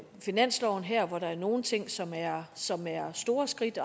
finansloven her hvor der er nogle ting som er som er store skridt